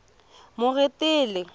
moretele